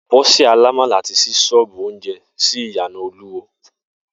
Bó̩sè̩ alámàlà ti s̩í s̩ó̩ò̩bù oúnje̩ sí ìyànà Olúwo